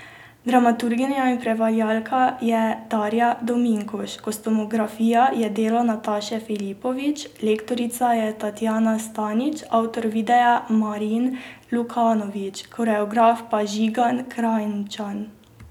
Dramaturginja in prevajalka je Darja Dominkuš, kostumografija je delo Nataše Filipović, lektorica je Tatjana Stanič, avtor videa Marin Lukanović, koreograf pa Žigan Krajnčan.